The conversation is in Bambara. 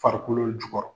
Farikolo jukɔrɔ